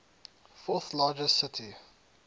fourth largest city